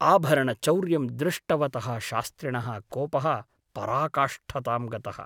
आभरणचौर्यं दृष्टवतः शास्त्रिणः कोपः पराकाष्ठतां गतः ।